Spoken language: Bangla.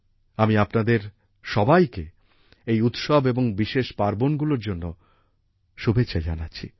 আমি আপনাদের সবাইকে এই উৎসব এবং বিশেষ পার্বণগুলির জন্য শুভেচ্ছা জানাচ্ছি